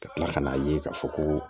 Ka tila ka n'a ye k'a fɔ ko